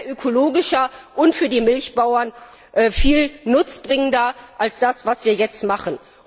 Das wäre ökologischer und für die Milchbauern viel nutzbringender als das, was wir jetzt machen.